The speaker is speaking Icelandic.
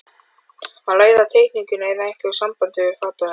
Að læra teikningu eða eitthvað í sambandi við fatahönnun.